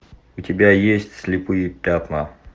у тебя есть слепые пятна